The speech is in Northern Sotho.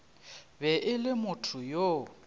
be e le motho yo